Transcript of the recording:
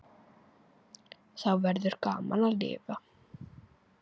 Þá verður gaman að lifa.